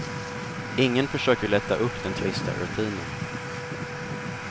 Ingen försöker lätta upp den trista rutinen.